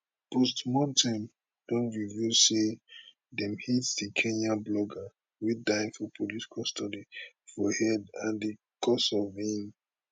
postmortem don reveal say dem hit di kenyan blogger wey die for police custody for head and di cause of im